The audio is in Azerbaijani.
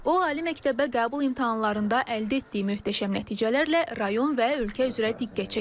O ali məktəbə qəbul imtahanlarında əldə etdiyi möhtəşəm nəticələrlə rayon və ölkə üzrə diqqət çəkib.